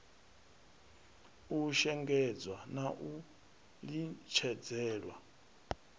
u shengedzwa na u litshedzelwa